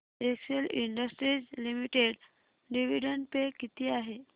Excel Industries Limited dividend पे किती आहे